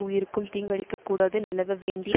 உயிருக்கும் தீங்கிழைக்கக் கூடாது நிலவ வேண்டிய